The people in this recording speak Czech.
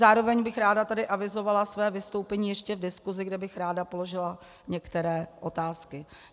Zároveň bych ráda tady avizovala své vystoupení ještě v diskusi, kde bych ráda položila některé otázky.